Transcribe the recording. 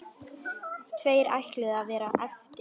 Tveir ætluðu að verða eftir.